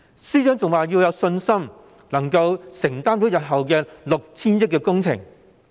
司長更說，政府有信心能承擔日後 6,000 億元的工程。